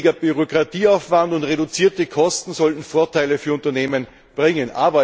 Weniger Bürokratieaufwand und reduzierte Kosten sollten Vorteile für Unternehmen bringen.